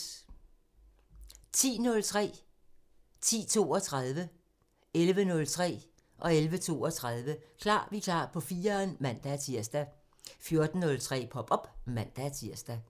10:03: Klar Vikar på 4'eren (man-tir) 10:32: Klar Vikar på 4'eren (man-tir) 11:03: Klar Vikar på 4'eren (man-tir) 11:32: Klar Vikar på 4'eren (man-tir) 14:03: Pop op (man-tir)